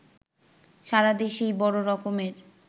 সারাদেশেই বড় রকমের